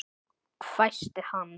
hvæsti hann.